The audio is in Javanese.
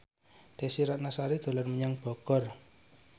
Desy Ratnasari dolan menyang Bogor